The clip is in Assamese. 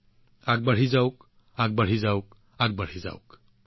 আগবাঢ়ি যাওক আগবাঢ়ি যাওক আগবাঢ়ি যাওক